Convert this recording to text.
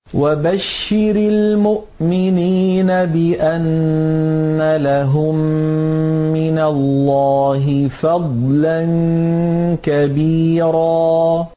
وَبَشِّرِ الْمُؤْمِنِينَ بِأَنَّ لَهُم مِّنَ اللَّهِ فَضْلًا كَبِيرًا